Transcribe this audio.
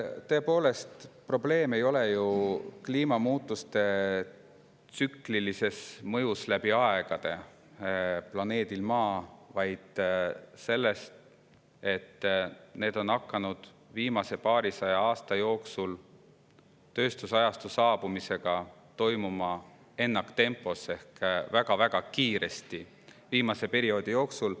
Tõepoolest, probleem ei ole ju kliimamuutuste tsüklilises mõjus planeedile Maa läbi aegade, vaid selles, et need on hakanud viimase paarisaja aasta jooksul toimuma ennaktempos tööstusajastu saabumise tõttu ehk väga-väga kiiresti perioodi jooksul.